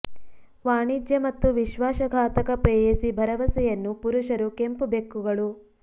ವಾಣಿಜ್ಯ ಮತ್ತು ವಿಶ್ವಾಸ ಘಾತಕ ಪ್ರೇಯಸಿ ಭರವಸೆಯನ್ನು ಪುರುಷರು ಕೆಂಪು ಬೆಕ್ಕುಗಳು